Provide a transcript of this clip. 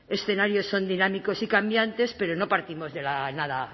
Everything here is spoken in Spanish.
escenarios son dinámicos y cambiantes pero no partimos de la nada